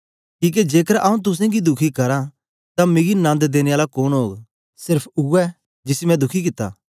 किके जेकर आंऊँ तुसेंगी दुखी करां तां मिकी नन्द देने आला कोन ओग सेर्फ उवै जिसी मैं दुखी कित्ता